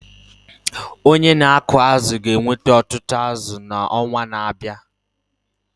Onye na-akụ azụ̀ ga-eweta ọtụtụ azụ̀ n’ọnwa na-abịa.